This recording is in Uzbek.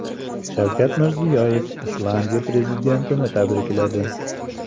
Shavkat Mirziyoyev Islandiya prezidentini tabrikladi.